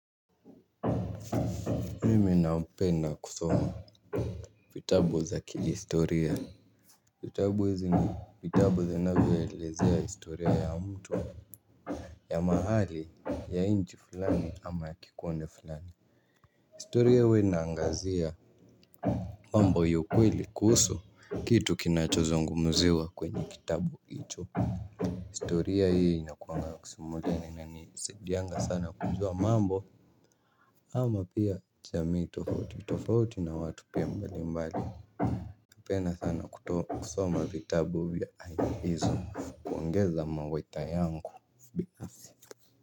Mimi napenda kusoma vitabu za kihistoria. Vitabu hizi ni vitabu zinavyoelezea historia ya mtu, ya mahali ya nchi fulani ama ya kikundi fulani. Historia huwa inaangazia mambo ya ukweli kuhusu kitu kinachozungumziwa kwenye kitabu hicho. Historia hii inakuanga kusimulia, inanisaidianga sana kujua mambo ama pia jamii tofauti tofauti na watu pia mbali mbali. Napenda sana kuto, kusoma vitabu vya aina hizo, kuongeza mawaidha yangu binafsi.